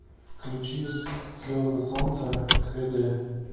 включи слезы солнца х д